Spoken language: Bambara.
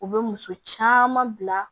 U bɛ muso caman bila